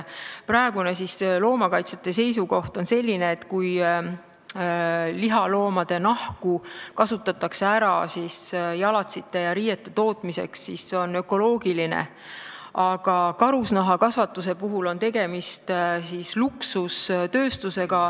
Loomakaitsjate praegune seisukoht on, et kui lihaloomade nahka kasutatakse jalatsite ja riiete tootmiseks, siis see on ökoloogiline, aga karusloomakasvatus on luksustööstus.